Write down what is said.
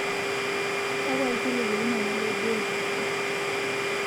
Kakua ilkiliku linono lebiotisho